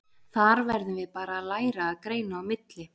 Þar verðum við bara að læra að greina á milli.